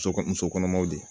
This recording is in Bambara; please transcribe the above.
Muso muso kɔnɔmaw de ye